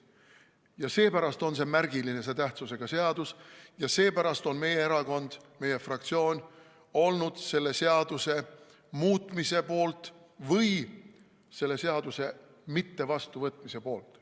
Ja seepärast on see märgilise tähtsusega eelnõu ja seepärast on meie erakond, meie fraktsioon olnud selle seaduse mittevastuvõtmise poolt.